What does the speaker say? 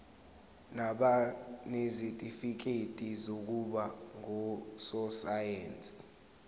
nabanezitifikedi zokuba ngososayense